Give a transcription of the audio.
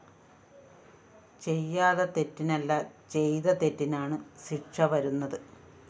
ചെയ്യാത്ത തെറ്റിനല്ല ചെയ്ത തെറ്റിനാണ് ശിക്ഷ വരുന്നത്